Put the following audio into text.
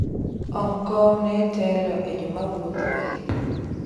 ong kong ne telo e jomawuotho ahinya